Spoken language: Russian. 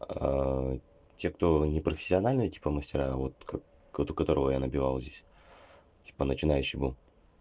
те кто не профессиональные типа мастера вот как у которого я набивал здесь типа начинающий был